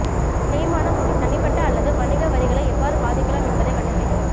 தேய்மானம் உங்கள் தனிப்பட்ட அல்லது வணிக வரிகளை எவ்வாறு பாதிக்கலாம் என்பதைக் கண்டுபிடிக்கவும்